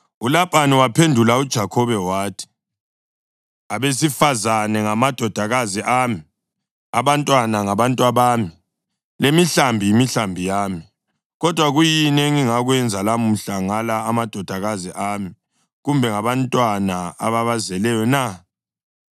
ULabhani wamphendula uJakhobe wathi, “Abesifazane ngamadodakazi ami, abantwana ngabantwabami, lemihlambi yimihlambi yami. Kodwa kuyini engingakwenza lamuhla ngala amadodakazi ami, kumbe ngabantwana ababazeleyo na?